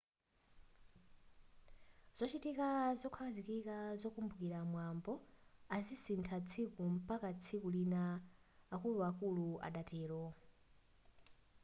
zochitika zokhazikika zokumbukira mwambo azisintha tsiku mpaka tsiku lina akuluakulu adatero